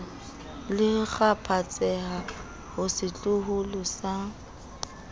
le kgaphatseha ho setloholo sa